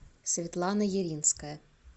светлана елинская